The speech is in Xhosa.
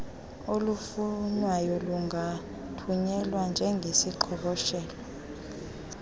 olufunwayo lungathunyelwa njengeziqhoboshelo